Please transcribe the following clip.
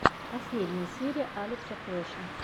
последняя серия алекса флеша